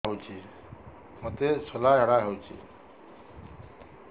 ମୋତେ ଶୂଳା ଝାଡ଼ା ହଉଚି